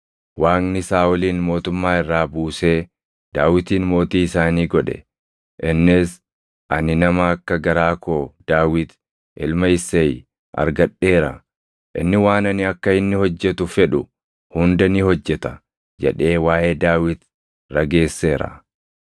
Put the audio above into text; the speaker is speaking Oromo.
Waaqni Saaʼolin mootummaa irraa buusee Daawitin mootii isaanii godhe; innis, ‘Ani nama akka garaa koo Daawit ilma Isseey argadheera; inni waan ani akka inni hojjetu fedhu hunda ni hojjeta’ jedhee waaʼee Daawit rageesseera.